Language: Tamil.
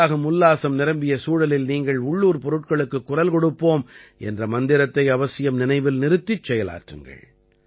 உற்சாகம் உல்லாசம் நிரம்பிய சூழலில் நீங்கள் உள்ளூர் பொருட்களுக்குக் குரல் கொடுப்போம் என்ற மந்திரத்தை அவசியம் நினைவில் நிறுத்திச் செயலாற்றுங்கள்